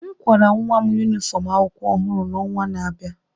m akwara nwa m yunifọm akwụkwọ ọhụrụ n'ọnwa na-abịa